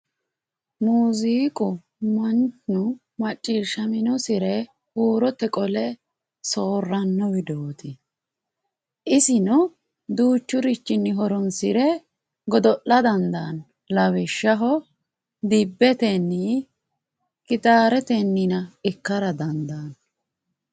Muziiqu mannu macciishshaminosire huurote qole soorrano widooti isino duuchurichinni horonsire godo'la dandaano lawishshaho dibbetenni gitaretenni ikkara dandaano.